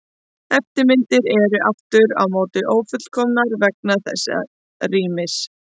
Eftirmyndirnar eru aftur á móti ófullkomnar vegna þessa rýmis.